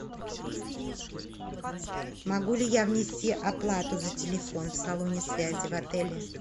могу ли я внести оплату за телефон в салоне связи в отеле